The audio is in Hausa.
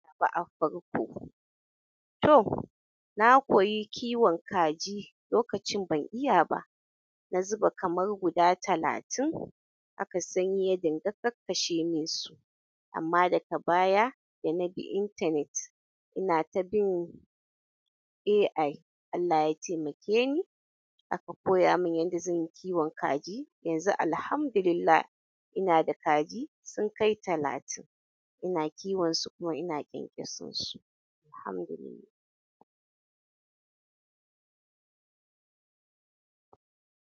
Ba a farko to na koyi kiwon kaji lokacin ban iya ba. Na zuba kamar guda talatin haka sanyi ya dinga kakkashe mun su amma daga baya da na bi intanet ina ta bin AI Allah ya taimake ni aka koya mun yanda zan yi kiwon kaji. Yanzu Alhamdulillah ina da kaju sun kai talatin ina kiwin su kuma ina ƙyanƙyason su alhamdulillah.